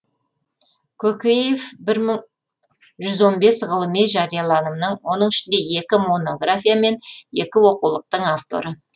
көкеев жүз он бес ғылыми жарияланымның оның ішінде екі монография мен екі оқулықтың авторы